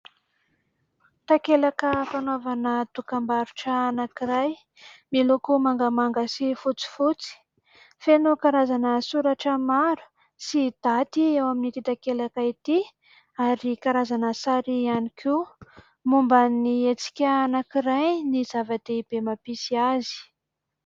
Takelaka fanaovana dokam-barotra anankiray, miloko mangamanga sy fotsifotsy. Feno karazana soratra maro sy daty eo amin'ity takelaka ity, ary karazana sary ihany koa. Momba ny hetsika anankiray no zava-dehibe mampisy azy.